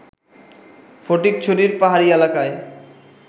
ফটিকছড়ির পাহাড়ি এলাকায়